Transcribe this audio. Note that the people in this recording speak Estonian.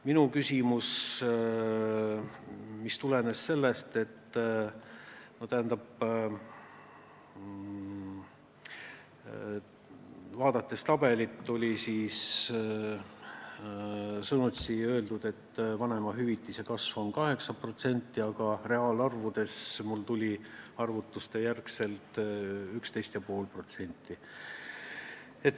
Minu küsimus tulenes sellest, et tabelist vaadates on vanemahüvitise kasv 8%, aga reaalne näitaja tuli mul arvutuste järgi 11,5%.